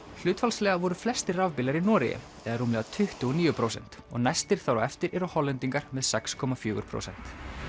hlutfallslega voru flestir rafbílar í Noregi eða rúmlega tuttugu og níu prósent og næstir þar á eftir eru Hollendingar með sex komma fjögur prósent